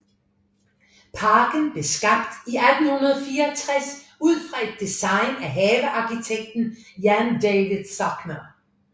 Parken blev skabt i 1864 ud fra et design af havearkitekten Jan David Zocher